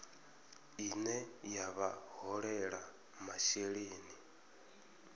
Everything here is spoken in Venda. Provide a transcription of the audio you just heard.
ine ya vha holela masheleni